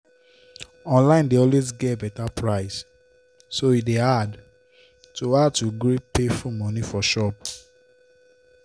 online dey always get better price so e dey hard to hard to gree pay full money for shop.